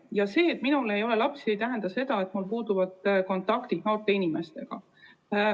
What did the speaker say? Ja see, et minul ei ole lapsi, ei tähenda seda, et mul puuduvad kontaktid noorte inimestega.